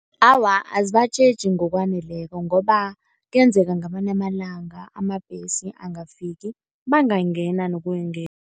Awa, azibatjheji ngokwaneleko ngoba kuyenzeka ngamanye amalanga amabhesi angafiki, bangayingena nokuyingena.